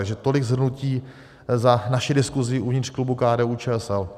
Takže tolik shrnutí za naši diskusi uvnitř klubu KDU-ČSL.